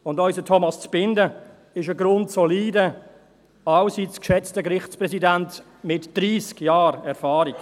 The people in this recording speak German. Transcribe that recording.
Und unser Thomas Zbinden ist ein grundsolider, allseits geschätzter Gerichtspräsident mit 30 Jahren Erfahrung.